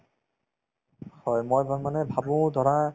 হয়, মই এবাৰ মানে ভাবো ধৰা